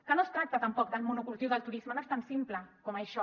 que no es tracta tampoc del monocultiu del turisme no és tan simple com això